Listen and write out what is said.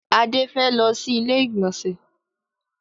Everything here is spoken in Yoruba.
Adé fẹ́ lọ sí ilé ìgbọ̀nsẹ̀.